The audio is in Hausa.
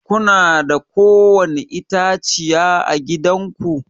Kuna da ko wani itãciya à gidan ku?